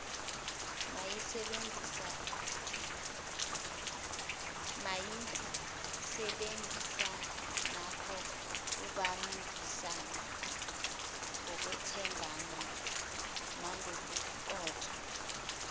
mayisebenzisanengokubambisana ngokwethembana nagobuqotho